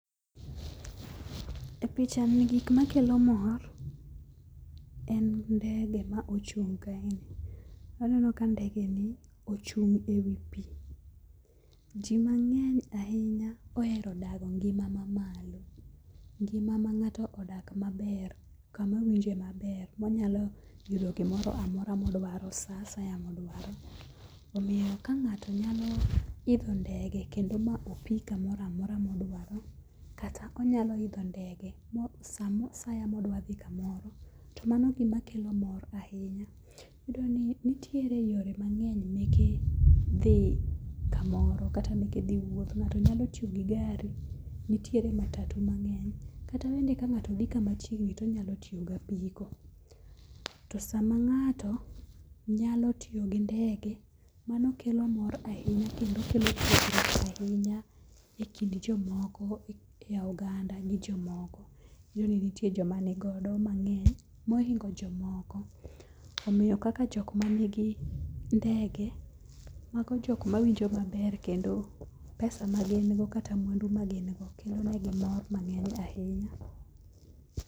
E picha ni gik makelo mor en ndege ma ochung' kae. Aneno ka ndege ni ochung' e wi pi. Ji mang'eny ahinya ohero dago ngima mamalo. Ngima ma ng'ato odak maber kama owinje maber monyalo yudo gimoro amora modwaro. Sa asaya modwaro. Omiyo ka ng'ato nyalo idho ndege kendo ma opi kamoro amora modwaro kata onyalo idho ndege sa asaya modwa dhi kamoro. Tomani gimakelo mor ahinya. Nitiere yore mang'eny meke dhi kamoro kata meke dhi wuoth. Ng'ato nyalo tiyo gi gari nitiere matatu mang'eny kata bende ka ngato dhi kamachiegni tonyalo tiyo gapiko. To sama ng'ato nyalo tiyo gi ndege mano kelo mor ahinya e kendo kelo sigu ahinya e kind jomoko e oganda gi jomoko. Iyudo ni nitie joma nigodo mang'eny hohingo jomoko. Omiyo kaka jok manigi ngede mago jok mawinjo maber kendo pesa ma gin go kata mwandu magingo kelonegi mor mang'eny ahinya.